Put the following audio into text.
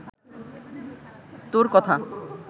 তোর কথা